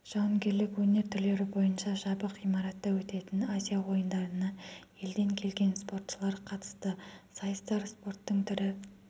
жауынгерлік өнер түрлері бойынша жабық ғимаратта өтетін азия ойындарына елден келген спортшылар қатысты сайыстар спорттың түрі